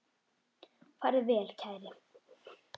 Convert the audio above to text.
Farðu vel, kæri.